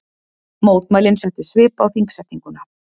Mótmælin settu svip á þingsetninguna